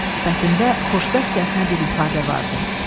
Sifətində xoşbəxtcəsinə bir ifadə vardı.